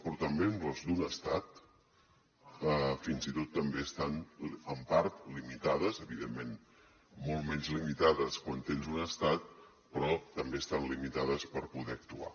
però també amb les d’un estat fins i tot també estan en part limitades evidentment molt menys limitades quan tens un estat però també estan limitades per poder actuar